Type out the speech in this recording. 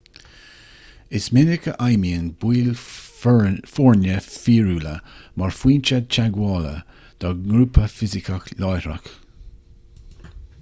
is minic a fheidhmíonn baill foirne fíorúla mar phointe teagmhála dá ngrúpa fisiceach láithreach